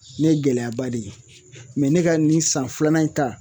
ne ye gɛlɛyaba de ye ne ka nin san filanan in ta